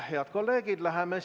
Head kolleegid!